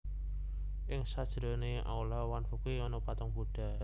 Ing sajerone aula Wanfuge ana patung budha